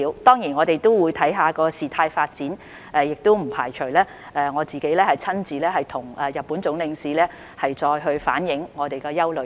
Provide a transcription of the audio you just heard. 當然，我們也會視乎事態發展，我不排除會親自向日本駐港總領事反映我們的憂慮。